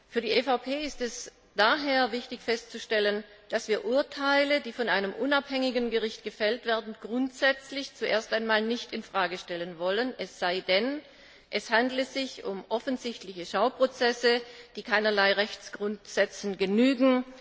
Für die EVP ist es daher wichtig, festzustellen, dass wir Urteile, die von einem unabhängigen Gericht gefällt werden, grundsätzlich zuerst einmal nicht in Frage stellen wollen, es sei denn, es handelt sich um offensichtliche Schauprozesse, die keinerlei Rechtsgrundsätzen genügen.